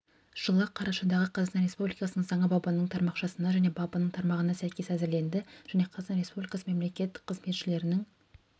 жылғы қарашадағы қазақстан республикасының заңы бабының тармақшасына және бабының тармағына сәйкес әзірленді және қазақстан республикасы мемлекеттік қызметшілерінің